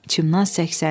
Çimnaz səksəndi.